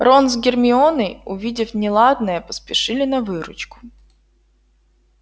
рон с гермионой увидев неладное поспешили на выручку